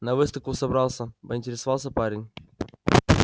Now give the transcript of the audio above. на выставку собрался поинтересовался парень